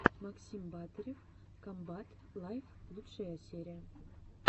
максим батырев комбат лайв лучшая серия